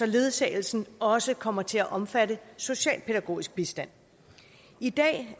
ledsagelsen også kommer til at omfatte socialpædagogisk bistand i dag